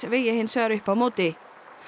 vegi hins vegar upp á móti